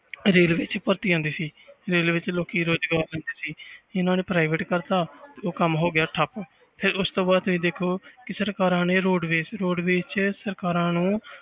Railway 'ਚ ਭਰਤੀ ਆਉਂਦੀ ਸੀ railway 'ਚ ਲੋਕੀ ਰੁਜ਼ਗਾਰ ਲੈਂਦੇ ਸੀ ਇਹਨਾਂ ਨੇ private ਕਰ ਦਿੱਤਾ ਤੇ ਉਹ ਕੰਮ ਹੋ ਗਿਆ ਠੱਪ ਫਿਰ ਉਸ ਤੋਂ ਬਾਅਦ ਤੁਸੀਂ ਦੇਖੋ ਕਿ ਸਰਕਾਰਾਂ ਨੇ ਰੋਡਵੇਜ ਰੋਡਵੇਜ 'ਚ ਸਰਕਾਰਾਂ ਨੂੰ